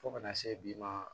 Fo ka na se bi ma